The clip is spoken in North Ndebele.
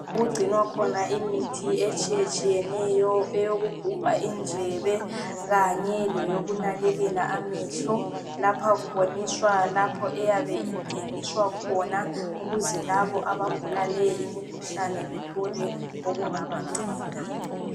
Okugcinwa khona imithi etshiyetshiyeneyo eyokugubha indlebe kanye leyokunakekela amehlo lapha kuboniswa lapho eyabe ithengiswa khona ukuze labo abagula le imikhuhlane bathole okungaba nceda.